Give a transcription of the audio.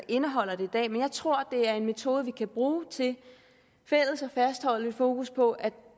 indeholder det men jeg tror at det er en metode vi kan bruge til fælles at fastholde et fokus på at